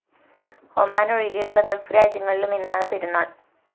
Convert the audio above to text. ഒമാന്‍ ഒഴികെയുള്ള ഗൾഫ്‌ രാജ്യങ്ങളിലും ഇന്നാണ് പെരുന്നാള്‍